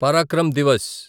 Parakram Divas